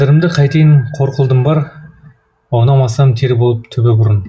қадірімді қайтейін қор қылдым бар аунамасам тер болып түбі бұрын